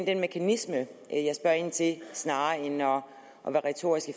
den mekanisme jeg spørger ind til snarere end at være retorisk